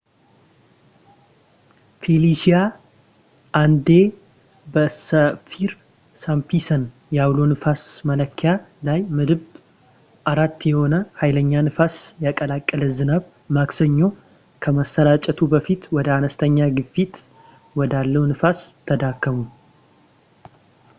ፌሊሺያ አንዴ በሳፊር-ሲምፕሰን የአውሎ ንፋስ መለኪያ ላይ ምድብ 4 የሆነ ሀይለኛ ንፋስ የቀላቀለ ዝናብ ማክሰኞ ከመሠራጨቱ በፊት ወደ አንስተኛ ግፊት ወዳለው ንፋስ ተዳከመ